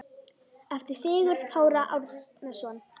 eftir Sigurð Kára Árnason